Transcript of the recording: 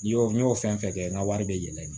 N y'o n y'o fɛn fɛn kɛ n ka wari bɛ yɛlɛ in na